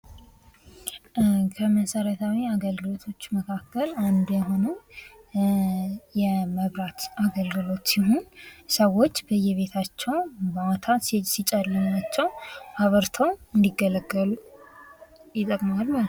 ከመሰረታዊ አገልግሎቶች መካከል አንዱ የሆነው የመብራት አገልግሎት ነው። ሰዎች በየቢታቸው ሲጨልማቸው ማታ አብርተው እንዲገለገሉበት ይጠቅማል ማለት ነው።